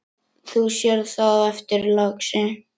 Þú sérð það á eftir, lagsi.